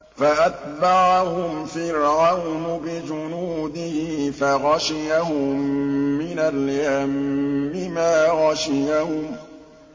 فَأَتْبَعَهُمْ فِرْعَوْنُ بِجُنُودِهِ فَغَشِيَهُم مِّنَ الْيَمِّ مَا غَشِيَهُمْ